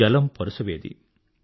జలం పరుసవేది